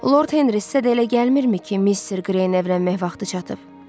Lord Henri sizə də elə gəlmirmi ki, Mister Qreyin evlənmək vaxtı çatıb?